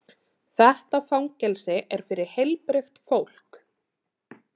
Þetta fangelsi er fyrir heilbrigt fólk.